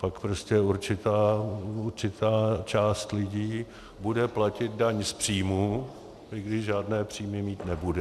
Pak prostě určitá část lidí bude platit daň z příjmů, i když žádné příjmy mít nebude.